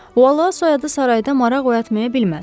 Vallah soyadı sarayda maraq oyatmay bilməz.